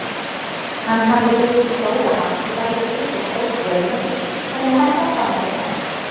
Hann hafði byggt stóra hafskipabryggju og stórt vöruhús sem ég held að standi enn.